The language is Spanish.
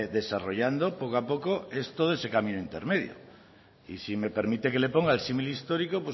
desarrollando poco a poco esto es camino intermedio y si me permite que le ponga el símil histórico